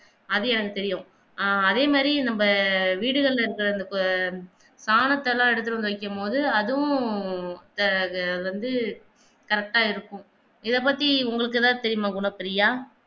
அது எனக்கு தெரியும் ஆஹ் அதே மாதிரி நம்ம வீடுகல்ல இருக்கிற அந்த எடுத்து வந்து வைக்கும் பொது அதும் ஆஹ் ஆ வந்து correct ஆ இருக்கும் இத பத்தி உங்களுக்கு எதாவது தெரியுமா குணப்ரியா